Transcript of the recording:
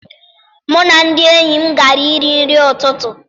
Mụ na ndị enyi m gara iri nri n'ụtụtụ.